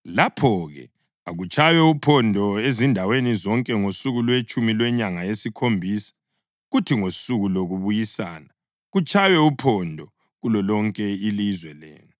Lapho-ke akutshaywe uphondo ezindaweni zonke ngosuku lwetshumi lwenyanga yesikhombisa; kuthi ngosuku lokuBuyisana kutshaywe uphondo kulolonke ilizwe lenu.